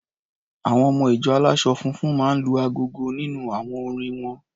Àwọn ọmọ-ìjọ aláṣọ funfun máa ń lu agogo nínú àwọn orin won.